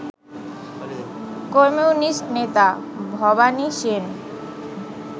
communist নেতা ভবানী সেন